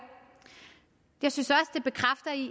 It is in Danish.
jeg synes at